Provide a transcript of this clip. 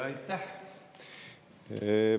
Aitäh!